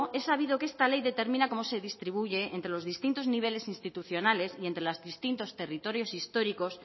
he sabido que esta ley determina cómo se distribuye entre los distintos niveles institucionales y entre los distintos territorios históricos